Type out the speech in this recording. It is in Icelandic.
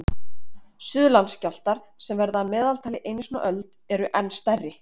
Suðurlandsskjálftar, sem verða að meðaltali einu sinni á öld, eru enn stærri.